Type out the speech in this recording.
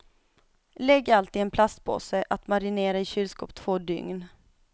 Lägg allt i en plastpåse att marinera i kylskåp två dygn.